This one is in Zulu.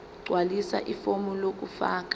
gqwalisa ifomu lokufaka